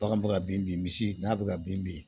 Bagan bɛ ka bin bin misi n'a bɛ ka bin bin